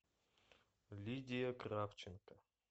лидия кравченко